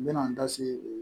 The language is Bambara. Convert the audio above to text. N bɛna n da se